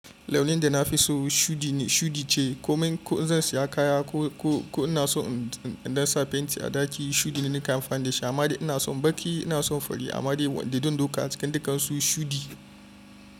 Launin da nafi so shuɗi ce. Ko zan saya kaya ko in na so in sa fenti a ɗaki, shuɗi ne nake amfani da shi. Amma ina son baƙi, ina son fari amma wanda dan duka a cikin dukansu shuɗi.